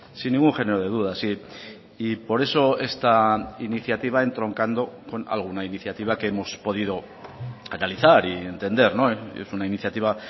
sin ningún género de dudas y por eso esta iniciativa entroncando con alguna iniciativa que hemos podido analizar y entender es una iniciativa